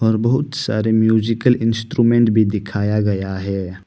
और बहुत सारे म्यूजिकल इंस्ट्रूमेंट भी दिखाया गया है।